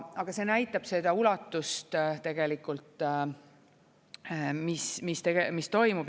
Aa see näitab seda ulatust tegelikult, mis toimub.